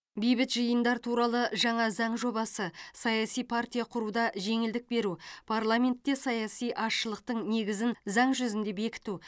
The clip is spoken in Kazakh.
бейбіт жиындар туралы жаңа заң жобасы саяси партия құруда жеңілдік беру парламентте саяси азшылықтың негізін заң жүзінде бекіту